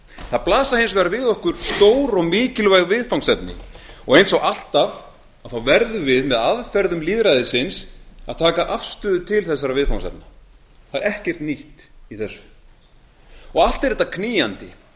það blasa hins vegar við okkur stór og mikilvæg viðfangsefni og eins og alltaf þá verðum við með aðferðum lýðræðisins að taka afstöðu til þeirra það er ekkert nýtt í því og allt er þetta knýjandi